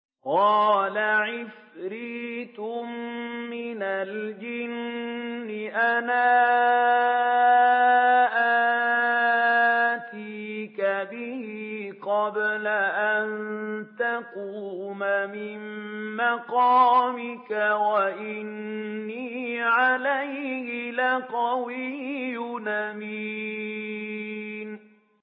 قَالَ عِفْرِيتٌ مِّنَ الْجِنِّ أَنَا آتِيكَ بِهِ قَبْلَ أَن تَقُومَ مِن مَّقَامِكَ ۖ وَإِنِّي عَلَيْهِ لَقَوِيٌّ أَمِينٌ